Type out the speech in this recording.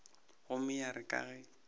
gomme ya re ka ge